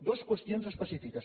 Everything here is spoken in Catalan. dues qüestions específiques